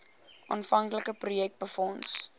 aanvanklike projek befonds